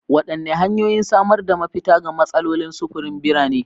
Wadanne hanyoyin samar da mafita ga matsalolin sufurin birane?